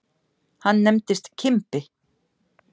Hann nefndist Kimbi.